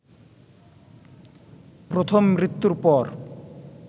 প্রথম মৃত্যুর পর